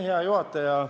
Hea juhataja!